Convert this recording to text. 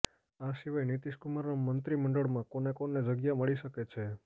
આ સિવાય નિતિશ કુમારના મંત્રી મંડળમાં કોને કોને જગ્યા મળી શકે છે